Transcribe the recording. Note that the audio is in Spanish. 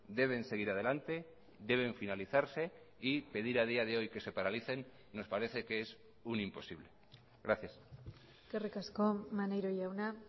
deben seguir adelante deben finalizarse y pedir a día de hoy que se paralicen nos parece que es un imposible gracias eskerrik asko maneiro jauna